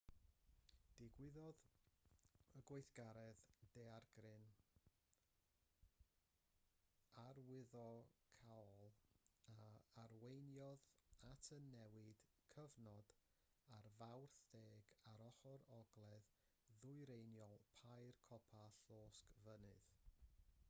digwyddodd y gweithgaredd daeargryn arwyddocaol a arweiniodd at y newid cyfnod ar fawrth 10 ar ochr ogledd-ddwyreiniol pair copa'r llosgfynydd